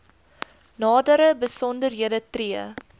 nadere besonderhede tree